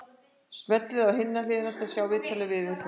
Smellið á Hin hliðin til að sjá viðtalið við Vilhjálm.